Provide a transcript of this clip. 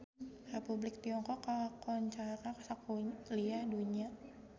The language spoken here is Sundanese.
Republik Tiongkok kakoncara sakuliah dunya